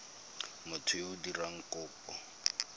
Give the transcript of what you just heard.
motho yo o dirang kopo